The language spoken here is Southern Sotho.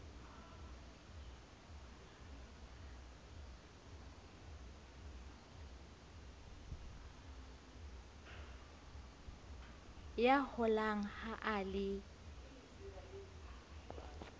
ya holang ha a le